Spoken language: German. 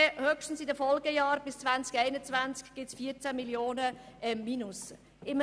Höchstens in den Folgejahren bis 2021 gibt es ein Defizit von 14 Mio. Franken.